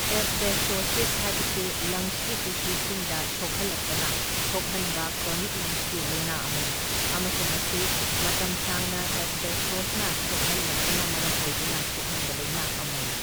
Asbestosis ꯍꯥꯢꯕꯁꯤ ꯂꯪꯁꯀꯤ ꯇꯤꯁꯨꯁꯤꯡꯗ ꯁꯣꯛꯍꯜꯂꯛꯄꯅ ꯊꯣꯛꯍꯟꯕ ꯀ꯭ꯔꯣꯅꯤꯛ ꯂꯪꯁꯀꯤ ꯂꯥꯢꯅꯥ ꯑꯃꯅꯤ ꯑꯃꯁꯨꯡ ꯃꯁꯤ ꯃꯇꯝ ꯁꯥꯡꯅ ꯑꯦꯁꯕꯦꯁꯇꯣꯁꯅ ꯁꯣꯛꯍꯜꯂꯛꯄꯅ ꯃꯔꯝ ꯑꯣꯏꯗꯨꯅ ꯊꯣꯛꯍꯟꯕ ꯂꯥꯢꯅꯥ ꯑꯃꯅꯤ꯫